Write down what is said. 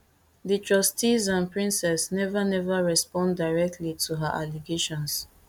di trustees and princes never never respond directly to her allegations